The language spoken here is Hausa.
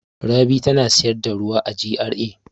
Rabi tana sayar da ruwa a GRA.